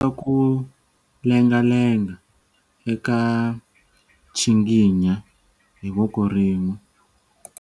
Ku lengalenga eka nchinginya hi voko rin'we.